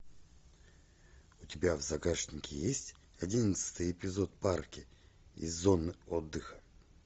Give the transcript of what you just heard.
у тебя в загашнике есть одиннадцатый эпизод парки и зоны отдыха